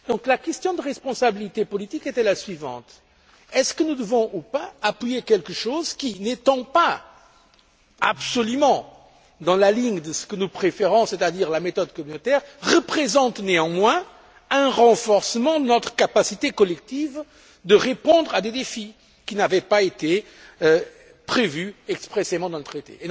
La question de la responsabilité politique était donc la suivante est ce que nous devons, ou pas, appuyer quelque chose qui, n'étant pas absolument dans la ligne de nos préférences, c'est à dire la méthode communautaire, représente néanmoins un renforcement de notre capacité collective de répondre à des défis qui n'avaient pas été prévus expressément dans le traité?